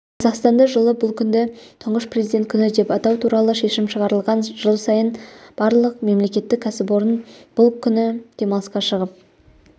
қазақстанда жылы бұл күнді тұңғыш президент күні деп атау туралы шешім шығарылған жыл сайын барлық мемлекеттік кәсіпорын бұл күні демалысқа шығып